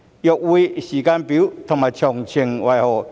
若會，時間表及詳情為何？